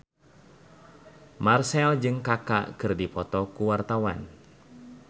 Marchell jeung Kaka keur dipoto ku wartawan